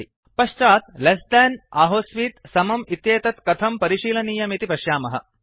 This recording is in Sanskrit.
पश्चात् लेस थान् लेस् देन् आहोस्वित् इक्वल तो समंइत्येतत् कथं परिशीलनीयमिति पश्यामः